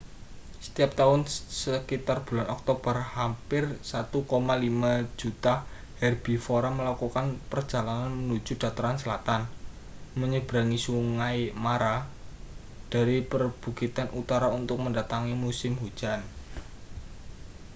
setiap tahun sekitar bulan oktober hampir 1,5 juta herbivora melakukan perjalanan menuju dataran selatan menyeberangi sungai mara dari perbukitan utara untuk mendatangi musim hujan